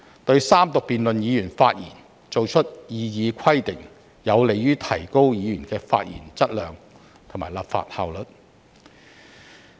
對議員在三讀階段發言作出的擬議規定，有利提高議員發言質量和立法效率。